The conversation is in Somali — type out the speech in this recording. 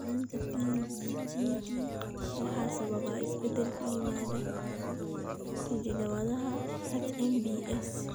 La'aanta PBGD waxaa sababa isbeddel ku yimaada hidda-wadaha HMBS.